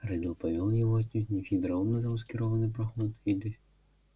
реддл повёл его отнюдь не в хитроумно замаскированный проход или